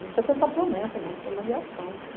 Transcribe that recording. Não precisa tanta promessa, não, precisa de ação.